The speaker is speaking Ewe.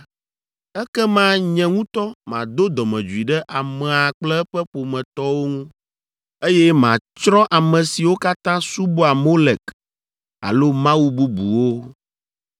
ekema nye ŋutɔ mado dɔmedzoe ɖe amea kple eƒe ƒometɔwo ŋu, eye matsrɔ̃ ame siwo katã subɔa Molek alo mawu bubuwo.